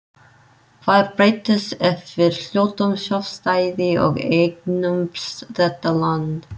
Hvað breytist ef við hljótum sjálfstæði og eignumst þetta land.